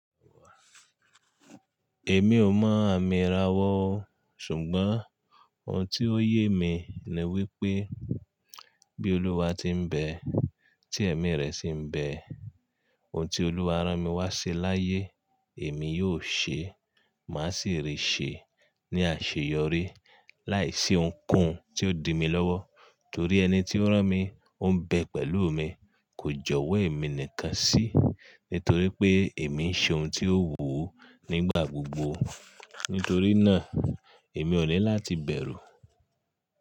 Èmi ò mọ́ àmì ara wọn o, ṣùgbọ́n ohun tí ó yé mi ni wípé bí Olúwa ti ń bẹ, tí ẹ̀mí rẹ̀ sì ń bẹ, ohun tí Olúwa rán mi wá ṣe láyé èmi yóò ṣe, má sì rí ṣe ní àṣeyọrí láìsí ohunkóhun tí ó di mi lọ́wọ́. Torí ẹni tí ó rán mi on bẹ pẹ̀lú mi, kò jọ̀wọ́ ẹ̀mi nìkan sí, nítorí pé èmi ń ṣe ohun tí ó wù Ú nígbà gbogbo. Nítorí náà, èmi ò ní láti bẹ̀rù.